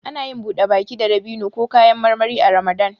Anayin buɗe baki da dabino ko kayan marmari a ramadan